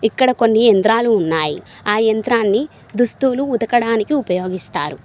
ఇక్కడ కొన్ని ఎంద్రాలు ఉన్నాయి ఆ యంత్రాన్ని దుస్తులు ఉతకడానికి ఉపయోగిస్తారు.